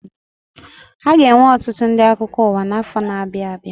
Aga enwe ọtụtụ ndị akụkọ ụwa na afọ ndị na abịa abịa